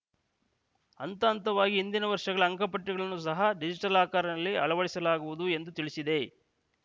ಹಂತ ಹಂತವಾಗಿ ಹಿಂದಿನ ವರ್ಷಗಳ ಅಂಕಪಟ್ಟಿಗಳನ್ನು ಸಹ ಡಿಜಿಟಲ್ ಆಕಾರನಲ್ಲಿನಲ್ಲಿ ಅಳವಡಿಸಲಾಗುವುದು ಎಂದು ತಿಳಿಸಿದೆ